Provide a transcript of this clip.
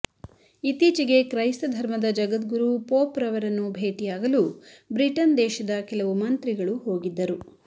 ಇತ್ತೀಚೆಗೆ ಕ್ರೈಸ್ತ ಧರ್ಮದ ಜಗದ್ಗುರು ಪೋಪ್ ರವರನ್ನು ಭೇಟಿಯಾಗಲು ಬ್ರಿಟನ್ ದೇಶದ ಕೆಲವು ಮಂತ್ರಿಗಳು ಹೋಗಿದ್ದರು